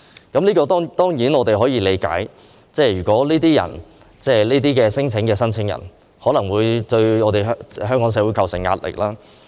對於這點，我們當然可以理解，如果這些聲請申請者作出虛假的聲請，可能會對香港社會構成壓力。